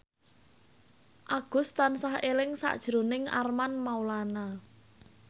Agus tansah eling sakjroning Armand Maulana